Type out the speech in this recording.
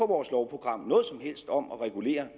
vores lovprogram noget som helst om at regulere